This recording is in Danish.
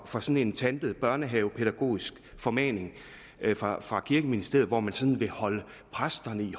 for sådan en tantet børnehavepædagogisk formaning fra fra kirkeministeriet hvor man sådan vil holde præsterne i